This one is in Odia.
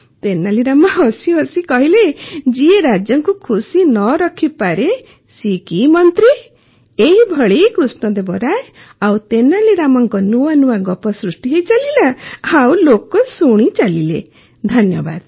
ତେନାଲୀ ରାମା ହସି ହସି କହିଲେ ଯିଏ ରାଜାଙ୍କୁ ଖୁସି ନ ରଖିପାରେ ସିଏ କି ମନ୍ତ୍ରୀ ଏହିଭଳି କୃଷ୍ଣଦେବ ରାୟ ଓ ତେନାଲୀ ରାମାଙ୍କ ନୂଆ ନୂଆ ଗପ ସୃଷ୍ଟି ହେଇ ଚାଲିଲା ଓ ଲୋକ ଶୁଣି ଚାଲିଲେ ଧନ୍ୟବାଦ